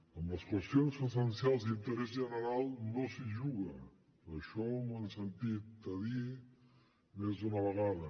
amb les qüestions essencials i d’interès general no s’hi juga això m’ho han sentit dir més d’una vegada